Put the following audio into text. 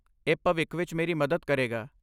ਇਹ ਭਵਿੱਖ ਵਿੱਚ ਮੇਰੀ ਮਦਦ ਕਰੇਗਾ।